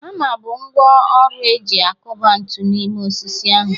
Hama bụ ngwá ọrụ e ji akụba ntu n’ime osisi ahu.